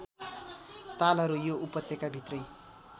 तालहरू यो उपत्यकाभित्रै